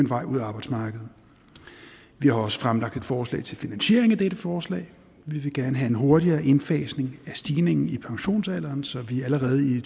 vej ud af arbejdsmarkedet vi har også fremlagt et forslag til finansiering af dette forslag vi vil gerne have en hurtigere indfasning af stigningen i pensionsalderen så vi allerede i